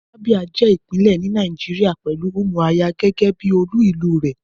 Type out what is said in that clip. Abia je ipinle ni Nàìjíríà pelu Umuahia gege bi olú ìlú re.